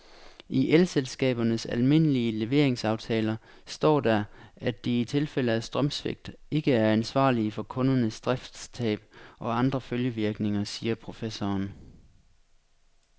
I elselskabernes almindelige leveringsaftaler står der, at de i tilfælde af strømsvigt ikke er ansvarlig for kundernes driftstab og andre følgevirkninger, siger professoren.